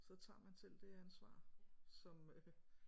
Så tager man selv det ansvar som øh